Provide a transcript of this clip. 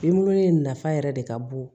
Binbulu in nafa yɛrɛ de ka bon